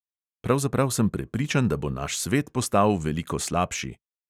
Pravzaprav sem prepričan, da bo naš svet postal veliko slabši.